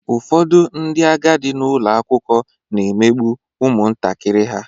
Ụfọdụ ndị agadi nọ n'ụlọ akwụkwọ na-emegbu ụmụntakịrị ha.